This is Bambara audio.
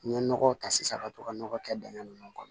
N ye nɔgɔ ta sisan ka to ka nɔgɔ kɛ dingɛ nunnu kɔnɔ